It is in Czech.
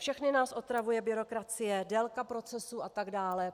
Všechny nás otravuje byrokracie, délka procesů a tak dále.